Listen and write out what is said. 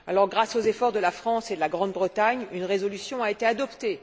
Grâce aux efforts de la France et de la Grande Bretagne, une résolution a été adoptée.